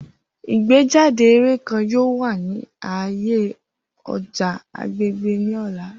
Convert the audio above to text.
Igbejade eré kan yoo wa ni aaye ọja agbegbe ni ọla.